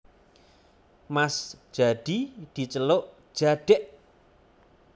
Mas Jadi diceluk Jadèk